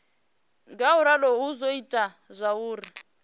ngauralo hu do ita zwauri